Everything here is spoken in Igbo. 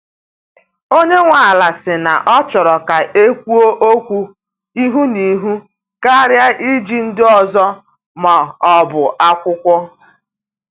Onye nwe ala si na ọ chọrọ ka ekwuo okwu ihu na ihu karịa iji ndị ọzọ ma ọ bụ akwụkwọ.